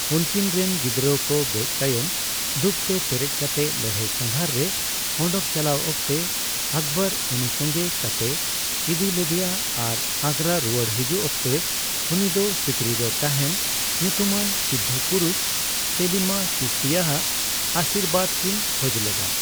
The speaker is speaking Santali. ᱩᱝᱠᱤᱱ ᱨᱮᱱ ᱜᱤᱫᱨᱟᱹ ᱠᱚ ᱜᱚᱡ ᱛᱟᱭᱚᱢ ᱫᱩᱠᱷᱛᱮ ᱯᱮᱨᱮᱪ ᱠᱟᱛᱮ ᱞᱟᱹᱲᱦᱟᱹᱭ ᱥᱟᱝᱜᱷᱟᱨ ᱨᱮ ᱚᱰᱚᱠ ᱪᱟᱞᱟᱣ ᱚᱠᱛᱮ ᱟᱠᱵᱚᱨ ᱩᱱᱤ ᱥᱚᱝᱜᱮ ᱠᱟᱛᱮᱭ ᱤᱫᱤ ᱞᱮᱫᱮᱭᱟ ᱟᱨ ᱟᱜᱨᱟ ᱨᱩᱣᱟᱹᱲ ᱦᱤᱡᱩᱠ ᱚᱠᱛᱮ ᱩᱱᱤ ᱫᱚ ᱥᱤᱠᱨᱤ ᱨᱮ ᱛᱟᱦᱮᱱ ᱧᱩᱛᱩᱢᱟᱱ ᱥᱤᱫᱫᱷ ᱯᱩᱨᱩᱥ ᱥᱮᱞᱤᱢᱟ ᱪᱤᱥᱛᱤᱭᱟᱜ ᱟᱹᱥᱤᱨᱵᱟᱫ ᱠᱤᱱ ᱠᱷᱚᱡ ᱞᱮᱫᱟ ᱾